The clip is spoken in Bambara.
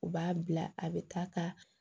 U b'a bila a bɛ taa ka